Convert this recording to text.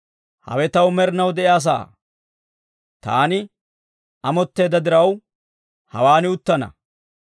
«Hawe taw med'inaw de'iyaa sa'aa; taani amotteedda diraw, hawaan uttana.